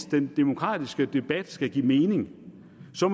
den demokratiske debat skal give mening så